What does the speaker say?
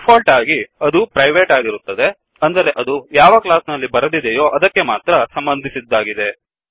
default ಆಗಿ ಅದು ಪ್ರೈವೇಟ್ಆಗಿರುತ್ತದೆ ಅಂದರೆ ಅದು ಯಾವ ಕ್ಲಾಸ್ ನಲ್ಲಿ ಬರೆದಿದೆಯೋ ಅದಕ್ಕೆ ಮಾತ್ರ ಸಂಬಂಧಿಸಿದ್ದಾಗಿದೆ